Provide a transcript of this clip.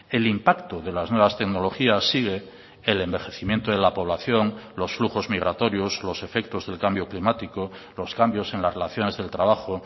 el impacto de las nuevas tecnologías sigue el envejecimiento de la población los flujos migratorios los efectos del cambio climático los cambios en las relaciones del trabajo